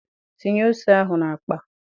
Tinye ose ahụ n'akpa!